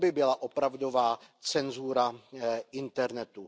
To by byla opravdová cenzura internetu.